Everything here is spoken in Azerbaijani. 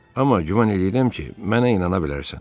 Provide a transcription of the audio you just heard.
Amma güman eləyirəm ki, mənə inana bilərsən.